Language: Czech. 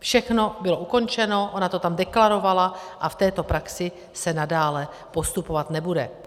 Všechno bylo ukončeno, ona to tam deklarovala a v této praxi se nadále postupovat nebude.